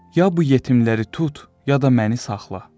Ya bu yetimləri tut, ya da məni saxla.